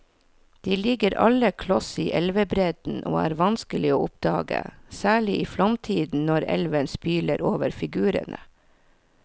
De ligger alle kloss i elvebredden og er vanskelige å oppdage, særlig i flomtiden når elven spyler over figurene.